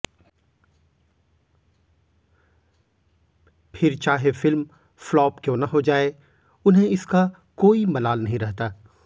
फिर चाहे film flop क्यों न हो जाये उन्हें इसका कोई मलाल नहीं रहता